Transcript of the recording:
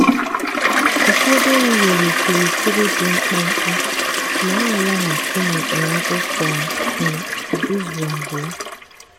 ụfọdụ ewu nwere okirikiri dị mkpụmkpụ ma na-alaghachi n’okpomọkụ kwa um izu abụọ.